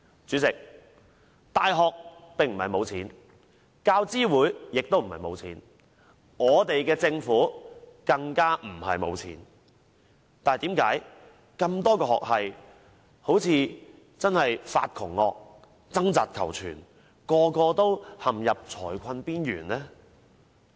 主席，大學不是沒有金錢，教資會亦並不是沒有金錢，我們的政府更不是沒有金錢，但為何多個學系好像"發窮惡"般，要掙扎求存，人人也陷入財困邊緣呢？